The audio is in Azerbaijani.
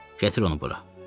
Gətir onu bura.